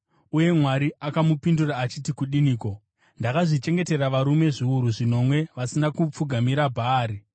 Uye Mwari akamupindura achiti kudiniko? “Ndakazvichengetera varume zviuru zvinomwe vasina kupfugamira Bhaari.”